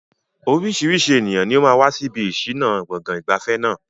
Oríṣiríṣi ènìyàn ni ó máa wà níbi ìṣìnà gbọ̀ngàn ìgbafẹ́ náà.